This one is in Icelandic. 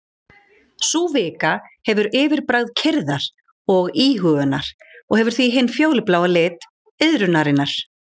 Sú vika hefur yfirbragð kyrrðar og íhugunar og hefur því hinn fjólubláa lit iðrunarinnar.